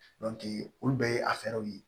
olu bɛɛ ye a fɛɛrɛw ye